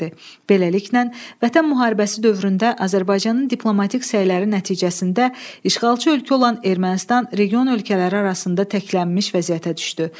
Beləliklə, Vətən müharibəsi dövründə Azərbaycanın diplomatik səyləri nəticəsində işğalçı ölkə olan Ermənistan region ölkələri arasında təklənmiş vəziyyətə düşdü.